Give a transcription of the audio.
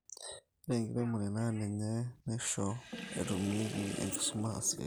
ore ekiremore naa ninye naisho etumieki enkisuma asioki